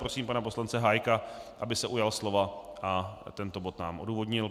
Prosím pana poslance Hájka, aby se ujal slova a tento bod nám odůvodnil.